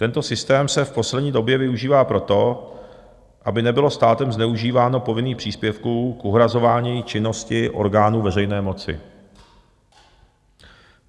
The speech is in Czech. Tento systém se v poslední době využívá proto, aby nebylo státem zneužíváno povinných příspěvků k uhrazování činnosti orgánů veřejné moci.